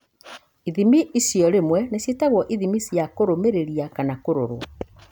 Ithimi icio rĩmwe nĩ ciĩtagwo ithimi cia kũrũmĩrĩria kana kũrorũo.